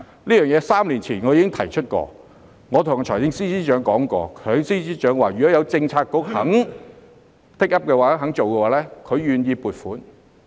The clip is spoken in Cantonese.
我3年前已經提出有關建議，亦曾向財政司司長提過，他表示如果有政策局肯 take up、肯做的話，他願意撥款。